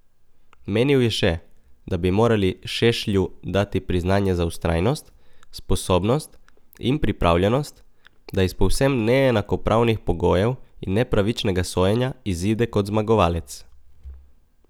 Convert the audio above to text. Menil je še, da bi morali Šešlju dati priznanje za vztrajnost, sposobnost in pripravljenost, da iz povsem neenakopravnih pogojev in nepravičnega sojenja izide kot zmagovalec.